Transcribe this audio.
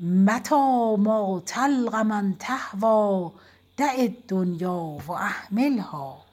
متیٰ ما تلق من تهویٰ دع الدنیا و اهملها